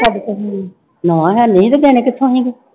ਸਾਡੇ ਕੋਲ ਹੈ ਨੀ, ਨਾ ਹੈ ਨੀ ਸੀ ਤੇ ਦੇਣੇ ਕਿੱਥੋਂ ਸੀਗੇ।